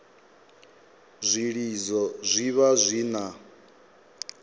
zwilidzo zwi vha zwi na